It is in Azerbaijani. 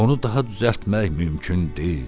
Onu daha düzəltmək mümkün deyil.